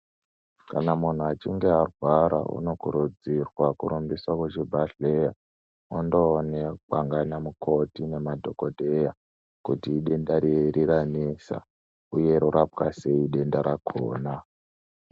Kana muntu echinga arwara unokurudzirwa kurumbiswa kuchibhedhlera, ondoonekwa ngana mukoti nemadhogodheya kuti idenda riri ranesa, uye rorapwa sei denda rakhona.